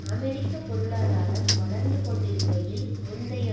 அமெரிக்க பொருளாதாரம் வளர்ந்து கொண்டிருக்கையில் முந்தைய